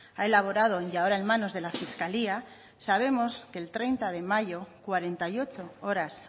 ha elaborado y ahora en manos de la fiscalía sabemos que el treinta de mayo cuarenta y ocho horas